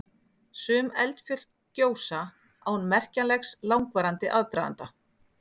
Sum eldfjöll gjósa án merkjanlegs langvarandi aðdraganda.